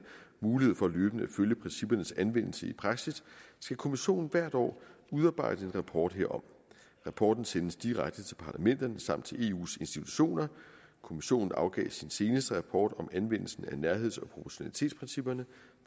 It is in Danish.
mulighed for løbende at følge princippernes anvendelse i praksis skal kommissionen hvert år udarbejde en rapport herom rapporten sendes direkte til parlamenterne samt til eus institutioner kommissionen afgav sin seneste rapport om anvendelsen af nærheds og proportionalitetsprincipperne